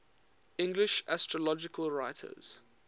english astrological writers